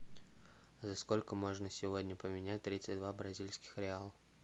за сколько можно сегодня поменять тридцать два бразильских реала